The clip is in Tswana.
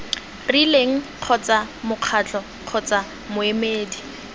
rileng kgotsa mokgatlo kgotsa moemedi